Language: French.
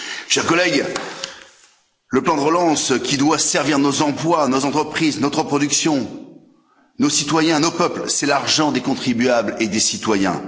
Chers collègues, le plan de relance, qui doit servir nos emplois, nos entreprises, notre production, nos citoyens, nos peuples, c'est l'argent des contribuables et des citoyens.